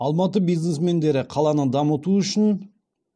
алматы бизнесмендері қаланы дамыту үшін